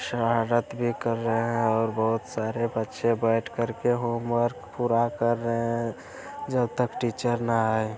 शरारत भी कर रहे हैं और बहुत सारे बच्चे बैठ कर के होमवर्क पूरा कर रहे हैं जब तक टीचर ना आये।